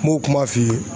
M'o kuma f'i ye